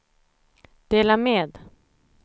dela med